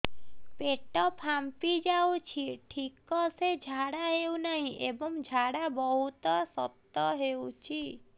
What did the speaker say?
ପେଟ ଫାମ୍ପି ଯାଉଛି ଠିକ ସେ ଝାଡା ହେଉନାହିଁ ଏବଂ ଝାଡା ବହୁତ ଶକ୍ତ ହେଉଛି